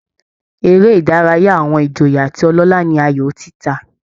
Eré ìdárayá àwọn ìjòyè àti ọlọ́lá ni aayò títa